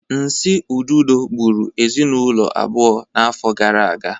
Nsi ududo gburu ezinụlọ abụọ n'afọ gara aga